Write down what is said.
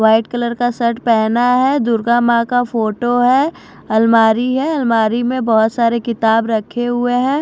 White colour का shirt पहना है दुर्गा मां का फोटो है अलमारी है अलमारी में बहुत सारे किताब रखे हुए हैं।